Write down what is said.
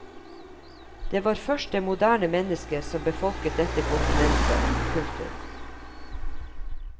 Det var først det moderne menneske som befolket dette kontinentet. punktum